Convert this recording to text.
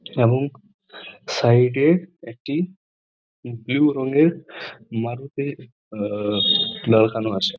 এবং সাইড -এ একটি বুলু রংয়ের মারুতি আ লাগানো আছে ।